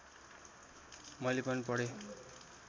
मैले पनि पढेँ